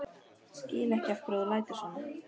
Skil ekki af hverju þú lætur svona.